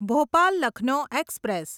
Bhopal Lucknow express